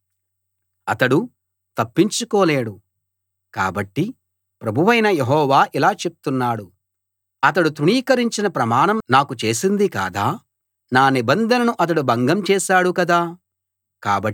కాబట్టి ప్రభువైన యెహోవా ఇలా చెప్తున్నాడు అతడు తృణీకరించిన ప్రమాణం నాకు చేసింది కాదా నా నిబంధనను అతడు భంగం చేశాడు కదా కాబట్టి అతడి పైకి శిక్ష రప్పిస్తున్నాను